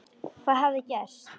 Hvað hafði gerst?